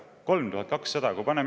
3200!